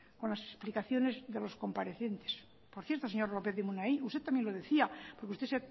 con las explicaciones de los comparecientes por cierto señor lópez de munain usted también lo decía porque usted